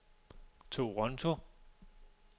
Toronto